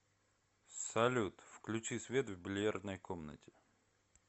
салют включи свет в бильярдной комнате